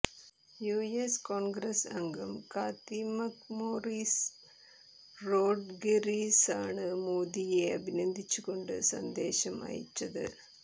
US Congress അംഗം Cathy McMorris റോഡ്ഗേര്സാണ് മോദിയെ അഭിനന്ദിച്ചുകൊണ്ട് സന്ദേശം അയച്ചത്